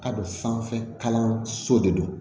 Ka don sanfɛ kalanso de don